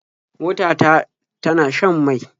Mota ta tana shan mai.